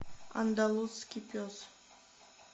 андалузский пес